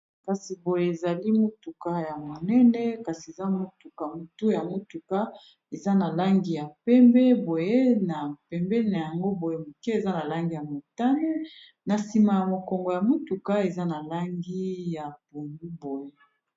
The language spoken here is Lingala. Kasi boye ezali motuka ya monene kasi eza motuka motu ya motuka eza na langi ya pembe boye na pembeni na yango boye mike eza na langi ya motane na nsima ya mokongo ya motuka eza na langi ya pondu boye.